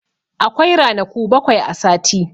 Akwai ranaku bakwai a sati.